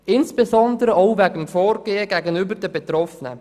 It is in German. Dies insbesondere auch wegen des Vorgehens gegenüber den Betroffenen.